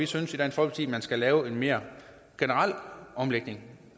synes at man skal lave en mere generel omlægning